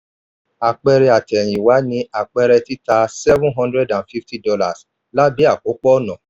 àpẹẹrẹ àtẹ̀yìnwá ni àpẹẹrẹ títà seven hundred and fifty dollars lábé àkópọ̀ ọ̀nà.